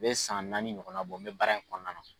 A be san naani ɲɔgɔna bɔ n be baara in kɔnɔna na